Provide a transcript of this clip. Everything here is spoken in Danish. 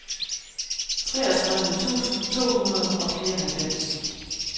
treogtredive tusind to hundrede og fireoghalvfems